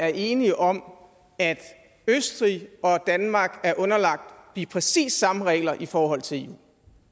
er enige om at østrig og danmark er underlagt de præcis samme regler i forhold til eu